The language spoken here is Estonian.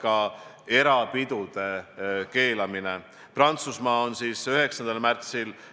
Samas meil võib praeguse kõrvale tekkida mingi lisaprobleem, mis on seotud näiteks elektrikatkestusega.